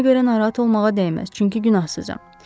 Mənə görə narahat olmağa dəyməz, çünki günahsızam.